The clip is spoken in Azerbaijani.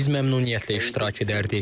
Bəli, biz məmnuniyyətlə iştirak edərdik.